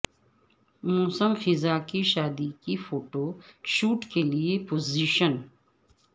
موسم خزاں کی شادی کی فوٹو شوٹ کے لئے پوزیشن